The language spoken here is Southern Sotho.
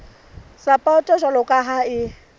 sapoto jwalo ka ha e